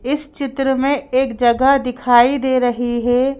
इस चित्र में एक जगह दिखाई दे रही है।